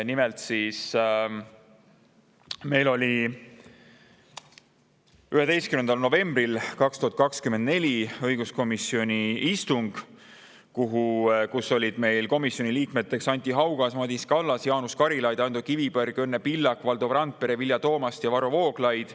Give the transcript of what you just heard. Nimelt oli meil 11. novembril 2024 õiguskomisjoni istung, kus olid komisjoni liikmed Anti Haugas, Madis Kallas, Jaanus Karilaid, Ando Kiviberg, Õnne Pillak, Valdo Randpere, Vilja Toomast ja Varro Vooglaid.